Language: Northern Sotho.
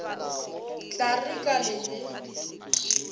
tla re ka le le